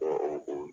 Ɔ o